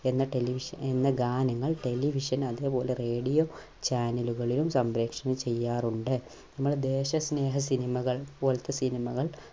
എന്ന television എന്ന ഗാനങ്ങൾ television അതുപോലെ radio channel കളിൽ സംപ്രേഷണം ചെയ്യാറുണ്ട്. എന്നാൽ ദേശസ്നേഹ cinema കൾ പോലത്തെ cinema കൾ